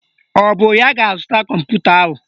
Ọ bụ ya ga-azụta kọmputa ahụ?